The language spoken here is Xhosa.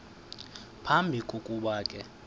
phambi kokuba ke